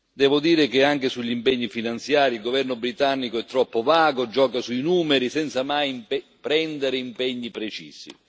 Devo dire che anche sugli impegni finanziari, il governo britannico è troppo vago, gioca sui numeri senza mai prendere impegni precisi.